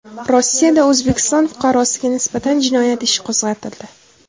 Rossiyada O‘zbekiston fuqarosiga nisbatan jinoyat ishi qo‘zg‘atildi.